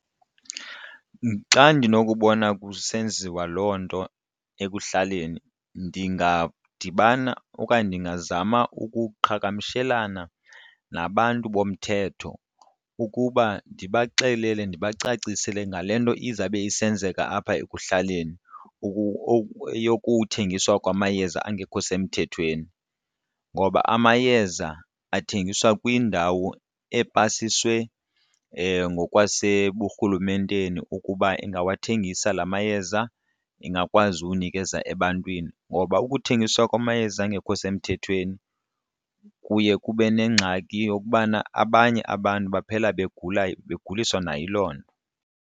Xa ndinokubona kusenziwa loo nto ekuhlaleni ndingadibana okanye ndingazama ukuqhagamshelana nabantu bomthetho ukuba ndibaxelele ndibacacisele ngale nto izawube isenzeka apha ekuhlaleni yokuthengiswa kwamayeza angekho semthethweni. Ngoba amayeza athengiswa kwindawo epasiswe ngokwaseburhulumenteni ukuba ingawathengisa la mayeza ingakwazi ukunikeza ebantwini. Ngoba ukuthengiswa kwamayeza angekho semthethweni kuye kube nengxaki yokubana abanye abantu baphela begula beguliswa nayiloo nto.